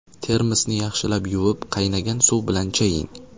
Termosni yaxshilab yuvib, qaynagan suv bilan chaying.